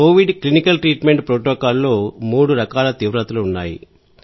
Covid clinical treatment protocol లో మూడు రకాల తీవ్రతలు ఉన్నాయి